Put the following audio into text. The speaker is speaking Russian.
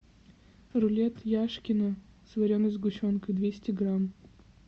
рулет яшкино с вареной сгущенкой двести грамм